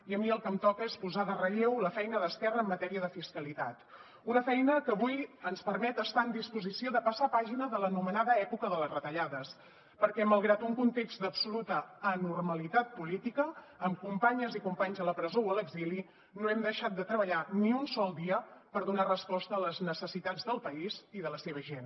i a mi el que em toca és posar de relleu la feina d’esquerra en matèria de fiscalitat una feina que avui ens permet estar en disposició de passar pàgina de l’anomenada època de les retallades perquè malgrat un context d’absoluta anormalitat política amb companyes i companys a la presó o a l’exili no hem deixat de treballar ni un sol dia per donar resposta a les necessitats del país i de la seva gent